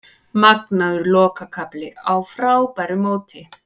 Magnaður lokakafli á frábæru móti